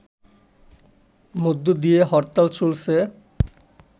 মধ্য দিয়ে হরতাল চলছে